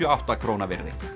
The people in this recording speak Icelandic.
og áttundu krónu virði